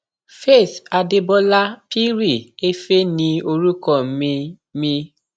faith adébólà pirri éfé ní orúkọ mi mi